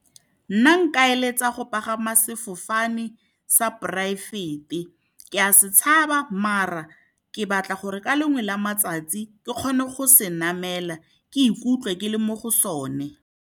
Nna nka eletsa go pagama sefofane sa poraefete, ke a se tshaba maar ke batla gore ka lengwe la matsatsi ke kgone go se namela, ke ikutlwe ke le mo go sone.